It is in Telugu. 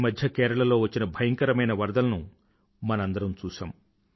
ఈమధ్య కేరళలో వచ్చిన భయంకరమైన వరదలను మనందరమూ చూశాం